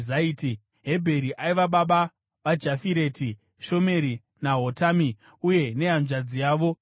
Hebheri aiva baba vaJafireti, Shomeri naHotami uye nehanzvadzi yavo Shua.